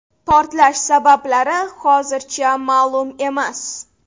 Portlash sabablari hozircha ma’lum emas.